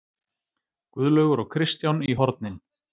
Guðlaugur og Kristján í hornin!